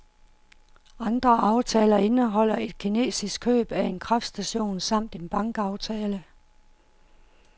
Andre aftaler indeholder et kinesisk køb af en kraftstation samt en bankaftale.